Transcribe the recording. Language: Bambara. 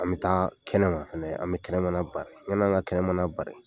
An bɛ taa kɛnɛma an bɛ kɛnɛmana bari yanni an ka kɛnɛmana bari